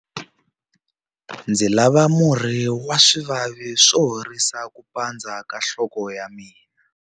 Ndzi lava murhi wa swivavi wo horisa ku pandza ka nhloko ya mina.